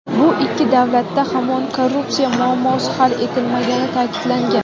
Bu ikki davlatda hamon korrupsiya muammosi hal etilmagani ta’kidlangan.